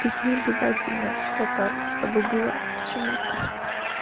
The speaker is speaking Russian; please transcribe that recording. тут не обязательно что-то чтобы было к чему-то